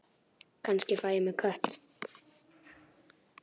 Kannski fæ ég mér kött.